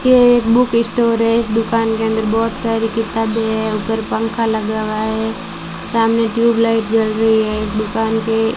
ये एक book store है इस दुकान के अंदर बहुत सारी किताबें है ऊपर पंखा लगा हुआ है सामने ट्यूब लाइट जल रही है इस दुकान के--